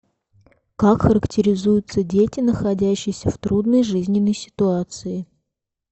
как характеризуются дети находящиеся в трудной жизненной ситуации